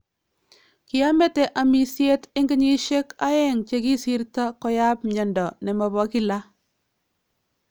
Kiamete amisyeet en kenyisyeek aeng chekisirto koyaab myando nemabo kilaa